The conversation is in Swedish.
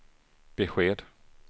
besked